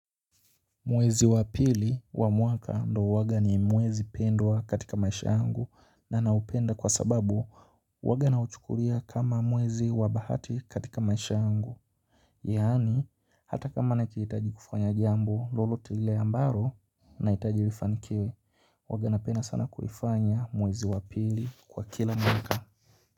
Mwezi wa pili wa mwaka ndo huwaga ni mwezi pendwa katika maisha yangu na naupenda kwa sababu huwaga nauchukulia kama mwezi wa bahati katika maisha yangu. Yaani hata kama nahitaji kufanya jambo lolote lile ambalo na nahitaji lifanikiwe huwaga napenda sana kulifanya mwezi wa pili kwa kila mwaka.